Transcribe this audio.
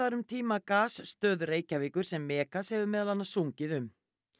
um tíma Reykjavíkur sem Megas hefur meðal annars sungið um